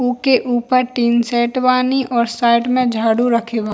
उके ऊपर tin shed वानी और साइड में झाड़ू रखे बा।